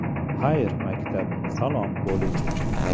Xayr, maktab – salom, kollej!.